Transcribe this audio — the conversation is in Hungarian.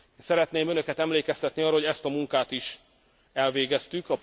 Szeretném önöket emlékeztetni arra, hogy ezt a munkát is elvégeztük.